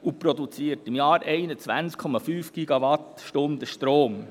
Es produziert pro Jahr 21,5 GWh Strom.